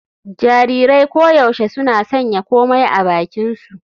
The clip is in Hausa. Jarirai koyaushe suna sanya komai a bakinsu.